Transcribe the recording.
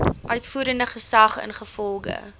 uitvoerende gesag ingevolge